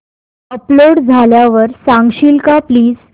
upload झाल्यावर सांगशील का प्लीज